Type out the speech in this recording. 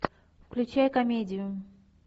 включай комедию